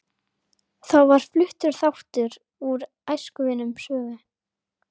Þá var fluttur þáttur úr Æskuvinum Svövu